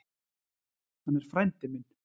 Hann er frændi minn.